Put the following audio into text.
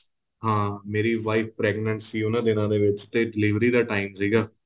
ਹਾਂ ਮੇਰੀ wife pregnant ਸੀ ਉਹਨਾਂ ਦਿਨਾ ਦੇ ਵਿੱਚ ਤੇ delivery ਦਾ time ਸੀਗਾ